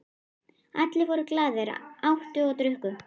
Allir voru glaðir, átu og drukku.